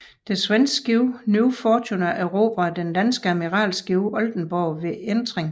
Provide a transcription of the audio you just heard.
Det svenske skib New Fortuna erobrede det danske admiralskib Oldenborg ved entring